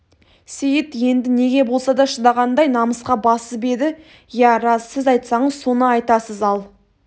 сейіт енді неге болса да шыдағандай намысқа басып еді иә рас сіз айтсаңыз соны айтасыз ал